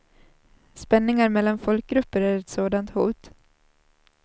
Spänningar mellan folkgrupper är ett sådant hot.